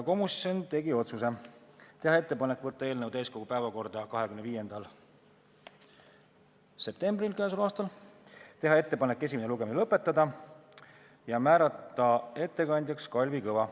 Komisjon tegi järgmised otsused: teha ettepanek võtta eelnõu täiskogu päevakorda 25. septembril k.a, teha ettepanek esimene lugemine lõpetada ja määrata ettekandjaks Kalvi Kõva.